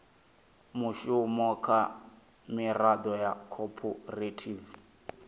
mushumo kha miraḓo ya khophorethivi